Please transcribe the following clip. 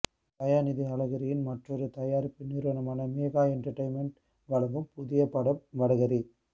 தயாநிதி அழகிரியின் மற்றொரு தயாரிப்பு நிறுவனமான மீகா என்டர்டெயின்மென்ட் வழங்கும் புதிய படம் வடகறி